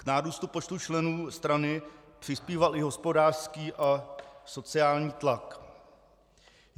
K nárůstu počtu členů strany přispíval i hospodářský a sociální tlak.